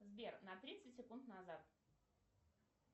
сбер на тридцать секунд назад